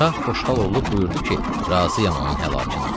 Şah Xoşxalolu buyurdu ki, razıyam onun həlakına.